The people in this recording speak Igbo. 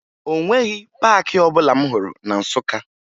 O nweghi paakị ọbụla m hụrụ na Nsụka